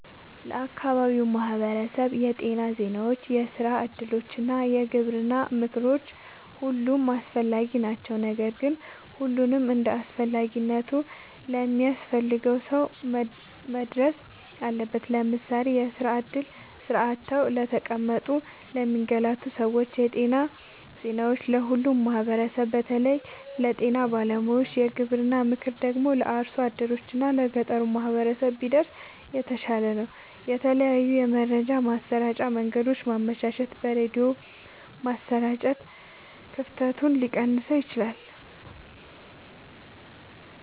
ለአካባቢው ማህበረሰብ የጤና ዜናዎች፣ የስራ እድሎች እና የግብርና ምክሮች ሁሉም አስፈላጊ ናቸው። ነገር ግን ሁሉም እንደየአስፈላጊነቱ ለሚያስፈልገው ሰው መድረስ አለበት። ለምሳሌ፦ የስራ እድል (ስራ አጥተው ለተቀመጡ ለሚንገላቱ ሰዎች) ,የጤና ዜናዎች(ለሁሉም ማህበረሰብ በተለይ ለጤና ባለሙያዎች) ,የግብርና ምክር ደግሞ(ለአርሶ አደሮች እና ለገጠሩ ማህበረሰብ) ቢደርስ የተሻለ ነው። የተለያዩ የመረጃ ማሰራጫ መንገዶችን ማመቻቸት(በሬድዮ ማሰራጨት) ክፍተቱን ሊቀንሰው ይችላል።